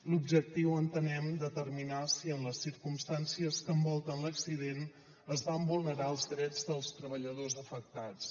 l’objectiu entenem determinar si en les circumstàncies que envolten l’accident es van vulnerar els drets dels treballadors afectats